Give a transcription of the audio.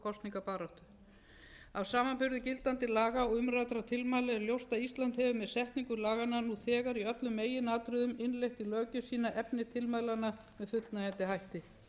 kosningabaráttu af samanburði gildandi laga um umræddra tilmæla er ljóst að ísland hefur með setningu laganna nú þegar í öllum meginatriðum innleitt í löggjöf sína efni tilmælanna með fullnægjandi hætti